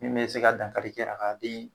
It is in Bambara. Min bɛ se ka dankari kɛ a ka den